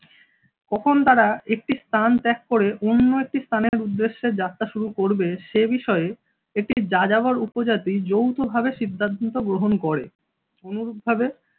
কখন তারা একটি স্থান ত্যাগ করে অন্য একটি স্থানের উদ্দেশ্যে যাত্রা শুরু করবে সে বিষয়ে একটি যাযাবর উপজাতি যৌথভাবে সিদ্ধান্ত গ্রহণ করে অনুরূপভাবে।